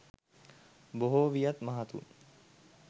බොහෝ වියත් මහතුන්